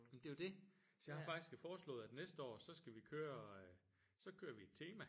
Jamen det er jo det! Så jeg har faktisk foreslået at næste år så skal vi køre øh så kører vi et tema